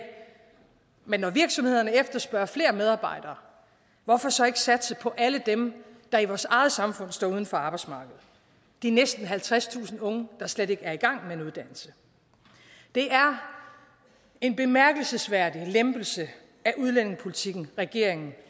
men når virksomhederne efterspørger flere medarbejdere hvorfor så ikke satse på alle dem der i vores eget samfund står uden for arbejdsmarkedet de næsten halvtredstusind unge der slet ikke er i gang med en uddannelse det er en bemærkelsesværdig lempelse af udlændingepolitikken regeringen